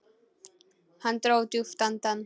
Hann dró djúpt andann.